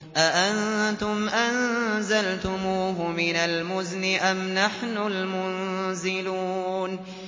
أَأَنتُمْ أَنزَلْتُمُوهُ مِنَ الْمُزْنِ أَمْ نَحْنُ الْمُنزِلُونَ